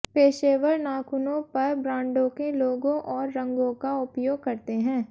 पेशेवर नाखूनों पर ब्रांडों के लोगो और रंगों का उपयोग करते हैं